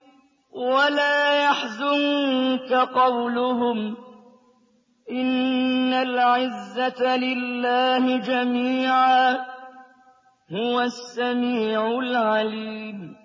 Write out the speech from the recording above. وَلَا يَحْزُنكَ قَوْلُهُمْ ۘ إِنَّ الْعِزَّةَ لِلَّهِ جَمِيعًا ۚ هُوَ السَّمِيعُ الْعَلِيمُ